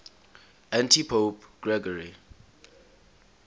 antipope gregory